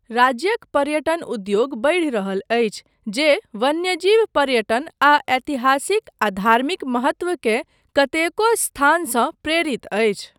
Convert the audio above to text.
राज्यक पर्यटन उद्योग बढि रहल अछि, जे वन्यजीव पर्यटन आ ऐतिहासिक आ धार्मिक महत्व के कतेको स्थानसँ प्रेरित अछि।